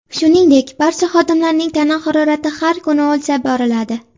Shuningdek, barcha xodimlarning tana harorati har kuni o‘lchab boriladi.